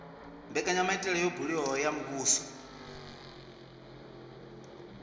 mbekanyamaitele yo buliwaho ya muvhuso